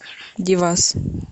девас